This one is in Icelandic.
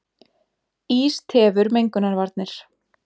Ís tefur mengunarvarnir